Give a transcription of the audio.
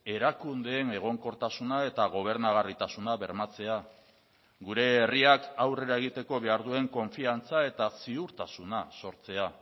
erakundeen egonkortasuna eta gobernagarritasuna bermatzea gure herriak aurrera egiteko behar duen konfiantza eta ziurtasuna sortzea